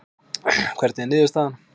Hvernig er niðurstaðan?